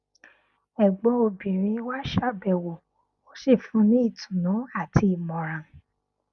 ẹgbọn obìnrin wá ṣàbẹwò ó sì fún un ní ìtùnú àti ìmọràn